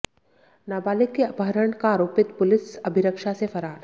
नाबालिग के अपहरण का आरोपित पुलिस अभिरक्षा से फरार